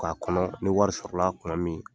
K'a kɔnɔ ni wari sɔrɔla kuma min.